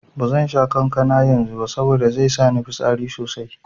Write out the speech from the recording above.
Bazan sha kankana yanzu ba saboda zai sa ni fitsari sosai.